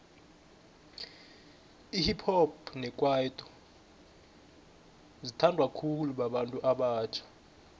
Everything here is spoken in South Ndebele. ihip hop nekwaito sezi thandwa khulu babantu abatjha